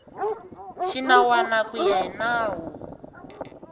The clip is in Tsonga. xinawana ku ya hi nawu